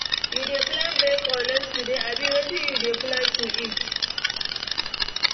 You dey plan break or lunch today, abi, wetin you dey plan to eat?